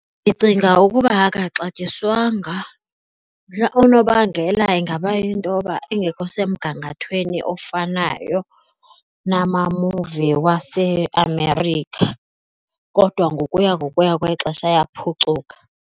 Ndicinga ukuba akaxatyiswanga unobangela ingaba yinto yoba engekho semgangathweni ofanayo namamuvi waseAmerica kodwa ngokuya ngokuya kwexesha ayaphucuka.